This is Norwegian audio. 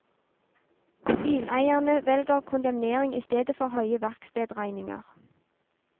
Bileierne velger kondemnering i stedet for høye verkstedregninger.